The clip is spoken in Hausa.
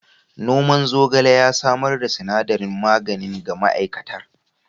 Noman zogale ya samar da sinadarin magani ga ma'aikatar.